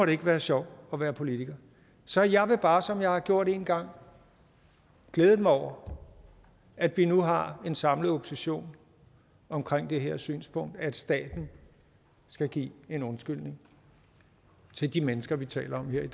det ikke være sjovt at være politiker så jeg vil bare som jeg har gjort en gang glæde mig over at vi nu har en samlet opposition omkring det her synspunkt at staten skal give en undskyldning til de mennesker vi taler om her i